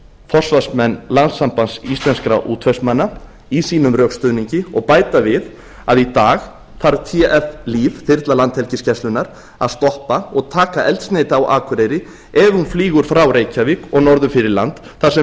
forsvarsmenn landssambands íslenskra útvegsmanna í sínum rökstuðningi og bæta við að í dag þarf tf líf þyrla landhelgisgæslunnar að stoppa og taka eldsneyti á akureyri ef hún flýgur frá reykjavík og norður fyrir land þar sem